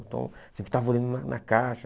Então sempre estava olhando na na caixa.